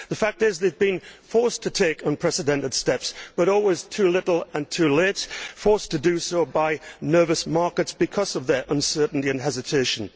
The fact is that it has been forced to take unprecedented steps, but always too little and too late forced to do so by nervous markets because of its uncertainty and hesitation.